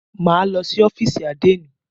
Máa lọ sí ọ́fìsì àdénì.